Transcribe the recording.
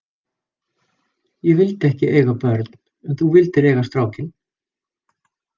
Ég vildi ekki eiga börn en þú vildir eiga strákinn.